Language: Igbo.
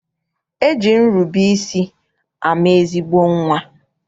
E ji nrube isi ama ezigbo nnwa.